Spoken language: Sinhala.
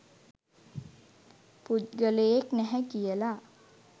පුද්ගලයෙක් නැහැ කියලා.